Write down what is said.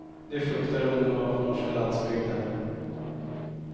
Det fruktar ungdomar på norska landsbygden.